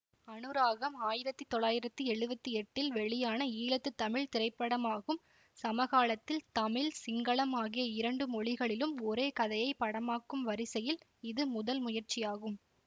அனுராகம் ஆயிரத்தி தொள்ளாயிரத்தி எழுவத்தி எட்டில் வெளியான ஈழத்து தமிழ் திரைப்படமகும் சமகாலத்தில் தமிழ் சிங்களம் ஆகிய இரண்டு மொழிகளிலும் ஒரே கதையை படமாக்கும் வரிசையில் இது முதல் முயற்சியாகும்